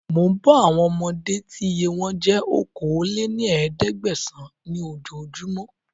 Mò ń bọ̀ àwọn ọmọdé tí iye wọn jẹ́ okòó lé ní ẹ̀ẹ́dẹ́gbẹ́sán ni oojo júmọ́